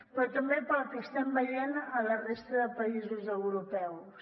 però també pel que estem veient a la resta de països europeus